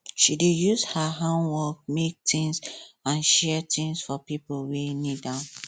she dey use her handwork make things and share things for pipo wey need am